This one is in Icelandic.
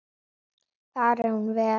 Fari hún vel.